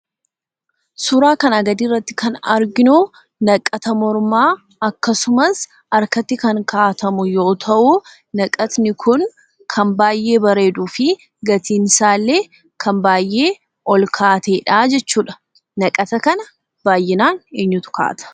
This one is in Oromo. Suuraa kanaa gadii irratti kan arginuu, naqata mormaa, Akkasumas harkatti kan kaa'atamu yoo ta'u, naqatni kun kan baay'ee bareeduu fi gatiin isaallee kan baay'ee ol ka'aa ta'edha jechuudha. Naqata kana baay'inaan eenyutu kaa'ata?